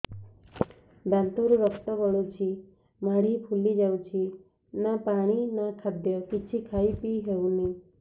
ଦାନ୍ତ ରୁ ରକ୍ତ ଗଳୁଛି ମାଢି ଫୁଲି ଯାଉଛି ନା ପାଣି ନା ଖାଦ୍ୟ କିଛି ଖାଇ ପିଇ ହେଉନି